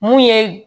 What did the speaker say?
Mun ye